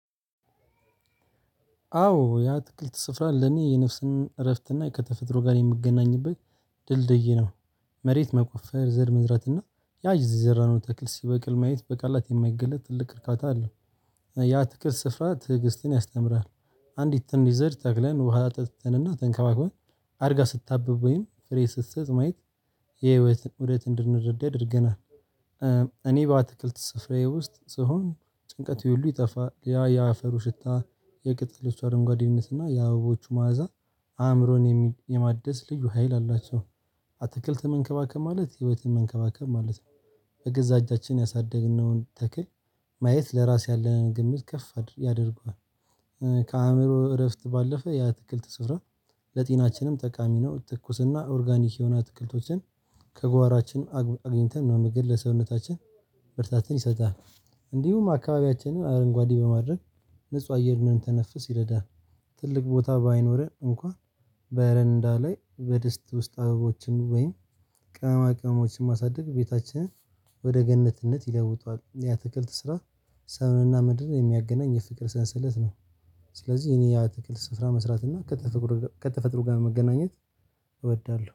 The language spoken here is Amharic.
አዎ የአትክክል ስፍራ ለኔ የነፍስን እረፍትና ከተፈጥሮ ጋር የምገናኝበት ድልድይ ነው። መሬት መቆፈር ዘር መዝራትና ያዝ የዘራነው ተክል ሲበቅል ማየት በቃላት የማይገለጥ ትልቅ እርካታ አለው። የአትክልት ስፍራ ትዕግስትን ያስተምራል አንዲት ትንሽ ዘር ተክለን ውሃ አጠጥተንና ተንከባክበን አድጋ ስታብብ ወይም ፍሬ ስትሰጥ ማየት የህይወትን ኡደት እንድንረዳ ያደርገናል። እኔ በአትክልት ስፍራዬ ውስጥ ስሆን ጭንቀቴ ሁሉ ይጠፋል ያ የአፈሩ ሽታ የቅጠሎች አረንጓዴነትና የአበቦቹ መዓዛ አእምሮን የማደስ ልዩ ሀይል አላቸው አትክልት መንከባከብ ማለት ህይወትን መንከባከብ ማለት ነው። በገዛ እጃችን ያሳደግነውን ተክል ማየት ለራስ ያለንን ግምት ከፍ ያደርገዋል። ከአእምሮ እረፍት ባለፈ የአትክልት ስፍራ ለጤናችንም ጠቃሚ ነው ትኩስና ኦርጋኒክ የሆነ አትክልቶችን ከጓሯችን አግ አግኝተን መመገብ ለሰውነታችን ብርታትን ይሰጣል እንዲሁም አካባቢያችንን አረንጓዴ በማድረግ ንጹህ አየርን እንድንተነፍስ ይረዳል ትልቅ ቦታ ባይኖረን እንኳን በረንዳ ላይ በዲስት ውስጥ አበቦችን ወይም ቅመማ ቅመሞችን ማሳደግ ቤታችንን ወደ ገነትነት ይለውጣል የአትክልት ስራ ሰውንና ምድርን የሚያገናኝ የፍቅር ሰንሰለት ነው ስለዚህ እኔ የአትክልት ስፍራ መስራት እና ከተፈጥሮ ጋር መገናኘት እወዳለሁ።